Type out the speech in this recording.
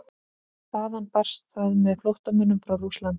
Þaðan barst það með flóttamönnum frá Rússlandi.